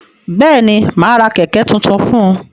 Bẹ́ẹ̀ni, mà á ra kẹ̀ẹ̀kẹ́ tuntun fún un.